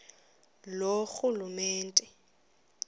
loorhulumente